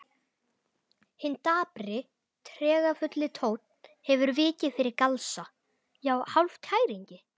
Hinn dapri, tregafulli tónn hefur vikið fyrir galsa, já hálfkæringi.